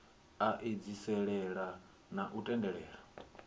a edziselea na u tendelela